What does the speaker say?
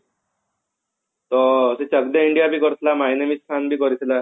ତ ସେ ଚକ ଦେ India ବି କରିଥିଲା my name is ଖାନ ବି କରିଥିଲା